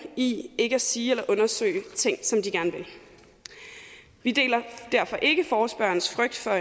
i ikke at sige eller undersøge ting de gerne vil vi deler derfor ikke forespørgernes frygt for